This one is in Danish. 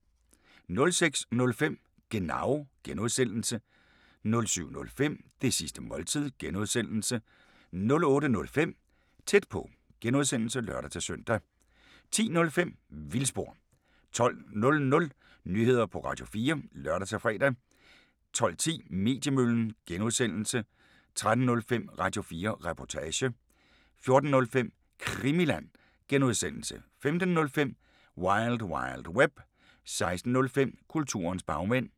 06:05: Genau (G) 07:05: Det sidste måltid (G) 08:05: Tæt på (G) (lør-søn) 10:05: Vildspor 12:00: Nyheder på Radio4 (lør-fre) 12:10: Mediemøllen (G) 13:05: Radio4 Reportage 14:05: Krimiland (G) 15:05: Wild Wild Web 16:05: Kulturens bagmænd